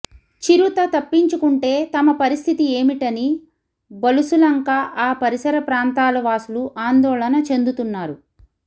చిరుత తప్పించుకుంటే తమ పరిస్థితి ఏమిటని బలుసులంక ఆ పరిసర ప్రాంతాల వాసులు ఆందోళన చెందుతున్నారు